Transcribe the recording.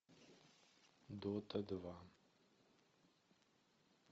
дота два